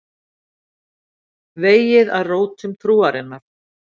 Vegið að rótum trúarinnar